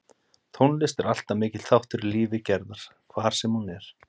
Tónlist er alltaf mikill þáttur í lífi Gerðar hvar sem hún er.